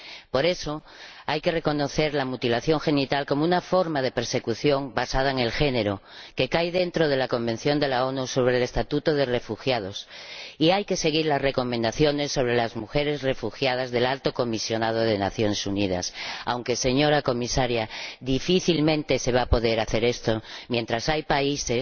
Por eso, hay que reconocer la mutilación genital como una forma de persecución basada en el género, comprendida en la Convención de la ONU sobre el Estatuto de los Refugiados, y hay que seguir las recomendaciones sobre las mujeres refugiadas del Alto Comisionado de las Naciones Unidas aunque, señora Comisaria, difícilmente se va a poder hacer esto mientras haya países,